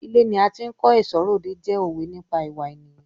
Ilé ni a ti ń kó ẹ̀ṣọ́ r'òde jẹ́ òwe nípa ìwà ènìyàn.